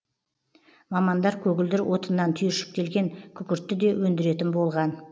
мамандар көгілдір отыннан түйіршіктелген күкіртті де өндіретін болған